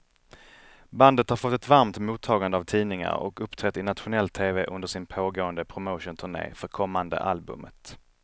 Bandet har fått ett varmt mottagande av tidningar och uppträtt i nationell tv under sin pågående promotionturné för kommande albumet.